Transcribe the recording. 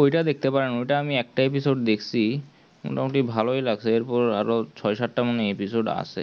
ওটা দেখতে পারেন ওটার এমি একটা episode দেখছি মোটা মতি ভালোই লাগছে এরপর আরও মনে হয় ছয় সাত তা episode আছে